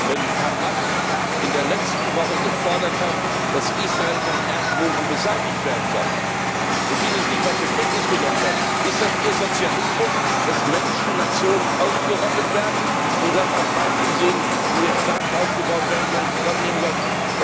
wenn Hamas in der letzten Woche gefordert hat, dass Israel vom Erdboden beseitigt werden soll, und dies nicht einmal zur Kenntnis zu nehmen ist das Ihr Sozialismus, dass Menschen und Nationen ausgerottet werden, und das als Beispiel dafür anzusehen, wie Staaten aufgebaut werden und zusammenleben sollen?